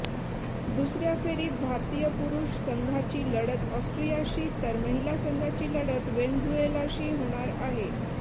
दुसऱया फेरीत भारतीय पुरुष संघाची लढत ऑस्ट्रियाशी तर महिला संघाची लढत व्हेनेझुएलाशी होणार आहे